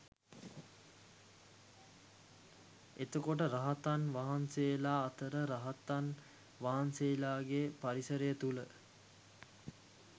එතකොට රහතන් වහන්සේලා අතර රහතන් වහන්සේලාගේ පරිසරය තුළ